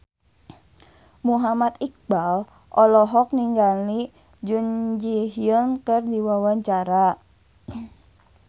Muhammad Iqbal olohok ningali Jun Ji Hyun keur diwawancara